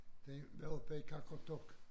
Den var oppe i Qaqortoq